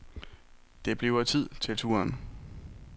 Det bliver tid til turen.